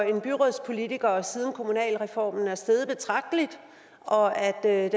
en byrådspolitiker siden kommunalreformen er steget betragteligt og at